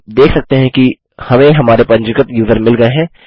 आप देख सकते हैं कि हमें हमारे पंजीकृत यूज़र मिल गये हैं